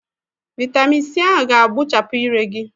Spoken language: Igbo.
Vị́tamị́n c ahụ ga-agbuchapụ ire gị